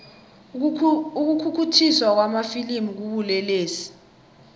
ukukhukhuthiswa kwamafilimu kubulelesi